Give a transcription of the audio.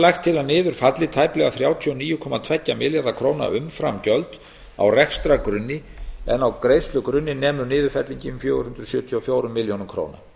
lagt til að niður falli tæplega þrjátíu og níu komma tvo milljarða króna umframgjöld á rekstrargrunni en á greiðslugrunni nemur niðurfellingin fjögur hundruð sjötíu og fjórar milljónir króna